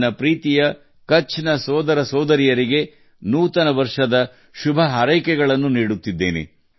ನನ್ನ ಎಲ್ಲಾ ಕಚ್ಚಿ ಸಹೋದರ ಸಹೋದರಿಯರಿಗೆ ನಾನು ಹೊಸ ವರ್ಷದ ಶುಭಾಶಯಗಳನ್ನು ಕೋರುತ್ತೇನೆ